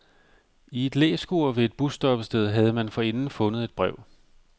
I et læskur ved et busstoppested havde man forinden fundet et brev.